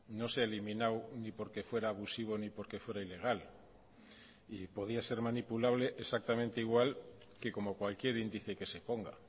no se ha eliminado ni porque fuera abusivo ni porque fuera ilegal y podía ser manipulable exactamente igual que como cualquier índice que se ponga